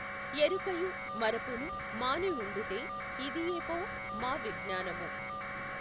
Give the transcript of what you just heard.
యెఱుకయు మఱపును మానివుండుటే యిదియేపో మావిజ్ఞానము।